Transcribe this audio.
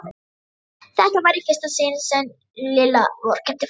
Þetta var í fyrsta sinn sem Lilla vorkenndi Fúsa.